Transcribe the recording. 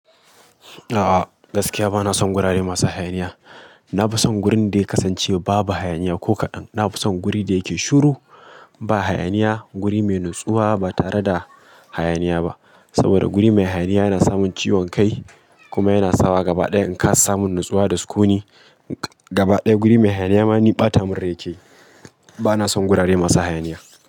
A'a gaskiya bana son gurare masu hayaniya. Na fi son gurin da ya kasance babu hayaniya ko kaɗan. Na fi son gurin da yake shiru ba hayaniya, guri mai natsuwa ba tare da hayaniya ba. Saboda guri mai hayaniya yana samun ciwon kai kuma yana sawa gaba ɗaya in ka samu natsuwa da sukuni. Gaba ɗaya guri mai hayaniya ma ni ɓata munrai yake. Bana son guri masu hayaniya.